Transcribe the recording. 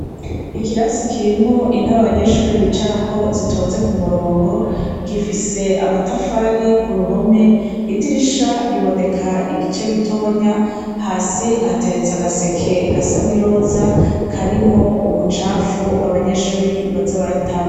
Ikirasi kirimwo intaba banyeshuri bicarako zitonze ku murongo, gifise amatafari ku ruhome idirisha riboneka igice gitonya hasi hateretse agaseke gasani roza karimwo umucafu abanyeshuri bazabaratamwo.